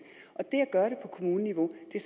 på kommuneniveau er